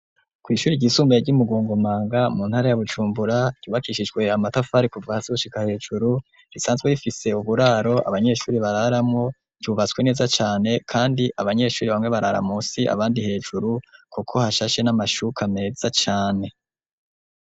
Ku ishure ryisumbaye ry'imugongomanga mu ntara ya BuJumbura ryubakishijwe amatafari kuva hasi gushika hejuru risanzwe rifise uburaro abanyeshure bararamwo ryubatswe neza cane kandi abanyeshure bamwe barara munsi abandi hejuru kuko hashashe n'amashuka meza cane.